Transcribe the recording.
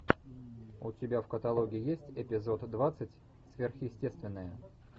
у тебя в каталоге есть эпизод двадцать сверхъестественное